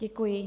Děkuji.